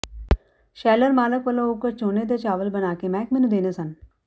sheller ਮਾਲਕ ਵੱਲੋਂ ਉਕਤ ਝੋਨੇ ਦੇ ਚਾਵਲ ਬਣਾ ਕੇ ਮਹਿਕਮੇ ਨੂੰ ਦੇਣੇ ਸਨ